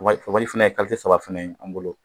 fana ye saba fana ye an bolo